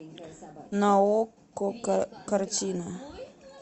на окко картина